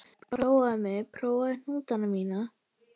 Prófaðu mig, prófaðu hnútana mína.